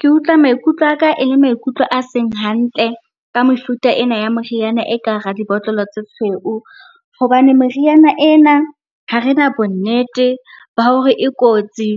Ke utlwa maikutlo aka e le maikutlo a seng hantle ka mefuta ena ya moriana, e ka hara dibotlolo tse tshweu. Hobane meriana ena ha rena bonnete ba hore e kotsi